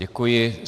Děkuji.